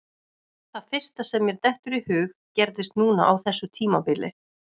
Það fyrsta sem mér dettur í hug gerðist núna á þessu tímabili.